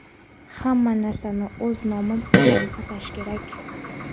Hamma narsani o‘z nomi bilan atash kerak.